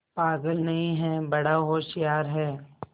पागल नहीं हैं बड़ा होशियार है